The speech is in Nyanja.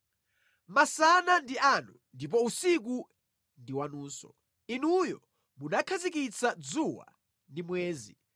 Masana ndi anu ndipo usiku ndi wanunso; Inuyo munakhazikitsa dzuwa ndi mwezi.